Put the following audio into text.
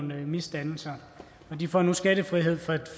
nogle misdannelser de får nu skattefrihed for de